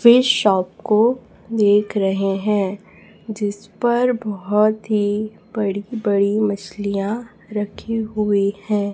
Fish shop को देख रहे है जिसपर बहोत ही बड़ी बड़ी मछलियां रखी हुई हैं।